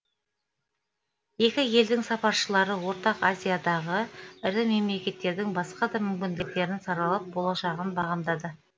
екі елдің сапаршылары ортақ азиядағы ірі мемлекеттердің басқа да мүмкіндіктерін саралап болашағын бағамдады